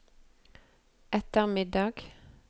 ettermiddag